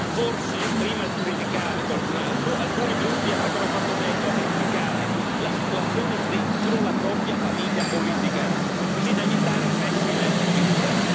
Forse, prima di criticare qualcun altro, alcuni gruppi avrebbero fatto meglio a verificare la situazione dentro la propria famiglia politica, così da evitare pessime figure.